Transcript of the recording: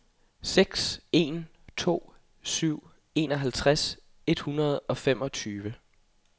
seks en to syv enoghalvtreds et hundrede og femogtyve